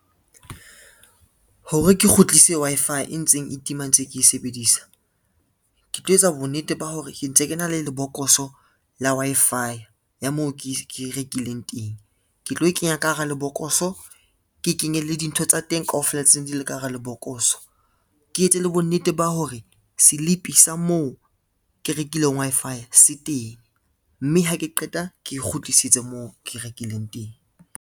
Hore ke kgutlise Wi-Fi e ntseng e tima ntse ke e sebedisa, ke tlo etsa bonnete ba hore ke ntse ke na le lebokoso la Wi-Fi ya moo ke rekileng teng, ke tlo e kenya ka hara lebokoso, ke kenye le dintho tsa teng kaofela tsene di le ka hara lebokoso. Ke etse le bonnete ba hore selipi sa moo ke rekileng Wi-Fi se teng, mme ha ke qeta ke kgutlisetse moo ke rekileng teng.